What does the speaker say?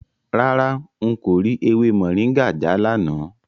Rárá, n kò rí ewé Moringa já lánàá.